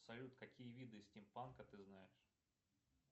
салют какие виды стимпанка ты знаешь